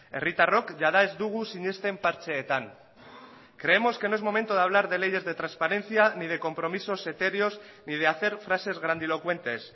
herritarrok jada ez dugu sinesten partxeetan creemos que no es momento de hablar de leyes de transparencia ni de compromisos etéreos ni de hacer frases grandilocuentes